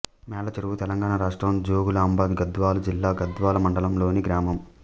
మేళ్ళచెరువు తెలంగాణ రాష్ట్రం జోగులాంబ గద్వాల జిల్లా గద్వాల మండలంలోని గ్రామం